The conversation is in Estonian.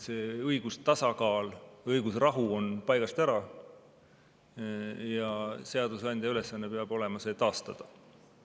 See õigustasakaal või õigusrahu on paigast ära ja seadusandja ülesanne peab olema see taastada.